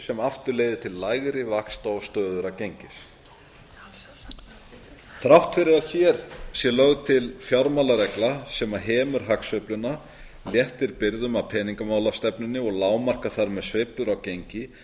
sem aftur leiðir til lægri vaxta og stöðugra gengis þrátt fyrir að hér sé lögð til fjármálaregla sem hemur hagsveifluna léttir byrðum af peningamálastefnunni og lágmarkar þar með sveiflur á gengi